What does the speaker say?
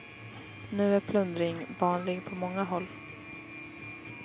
Nu är plundring vanlig på många håll.